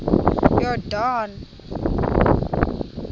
yordane